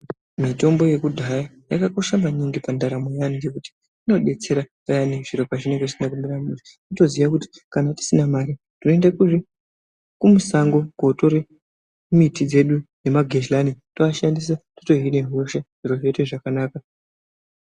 Mitombo yekudhaya yakakosha maningi pandaramoo yaanhu ngekuti inodetsera payani zviro zvisina kumire mushe tinotoziya kuti kana tisina mare toende musango kootore miti dzedu nemagehlani tooashandisa totohine hosha zviro zvoite zviro zvakanaka.